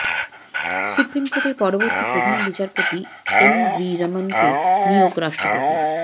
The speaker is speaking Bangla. সুপ্রিম কোর্টের পরবর্তী প্রধান বিচারপতি এনভি রমনকে নিয়োগ রাষ্ট্রপতির